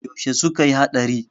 yaushe suka yi hadari?